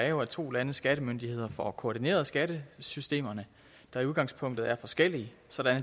er jo at to landes skattemyndigheder får koordineret skattesystemerne der i udgangspunktet er forskellige så